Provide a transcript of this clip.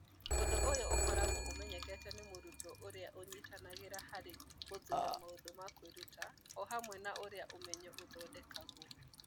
Ũndũ ũyũ ũkoragwo ũmenyekete nĩ mũrutwo ũrĩa ũnyitanagĩra harĩ gũthuura maũndũ ma kwĩruta o hamwe na ũrĩa ũmenyo ũthondekagwo.